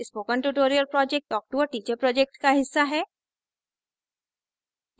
spoken tutorial project talktoa teacher project का हिस्सा है